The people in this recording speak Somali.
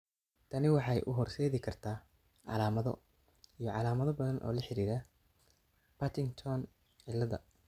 Tani waxay u horseedi kartaa calaamado iyo calaamado badan oo la xidhiidha Partington ciilada.